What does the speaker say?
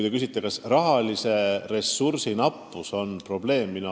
Te küsite, kas raha nappus on probleem.